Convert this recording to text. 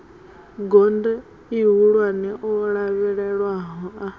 gondo ihulwane o lavhelelwaho a